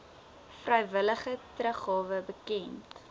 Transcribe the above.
vrywillige teruggawe bekend